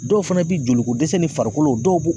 Dɔw fana bi joli ko dɛsɛ ni farikolo dɔw